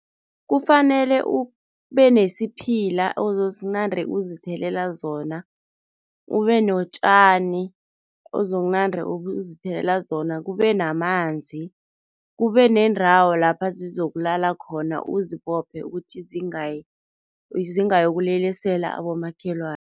Kufanele ube nesiphila ozosinande uzithelela zona, ube notjani ozokunande uzithelela zona, kube namanzi, kube nendawo lapha zizokulala khona, uzibophe ukuthi zingayi zingayokulelesela abomakhelwana.